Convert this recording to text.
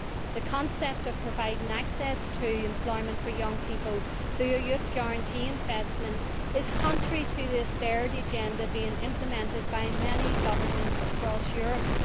The concept of providing access to employment for young people through a Youth Guarantee Investment is contrary to the austerity agenda being implemented by many governments across Europe.